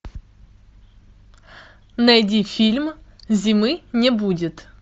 найди фильм зимы не будет